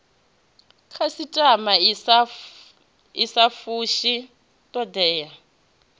khasitama i sa fushi thodea